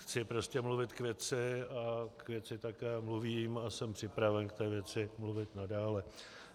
Chci prostě mluvit k věci a k věci také mluvím a jsem připraven k té věci mluvit nadále.